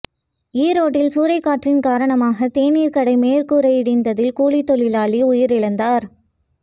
ஈரோட்டில் சூறைக்காற்றின் காரணமாக தேனீர் கடை மேற்கூரை இடிந்ததில் கூலித்தொழிலாளி உயிரிழந்தார்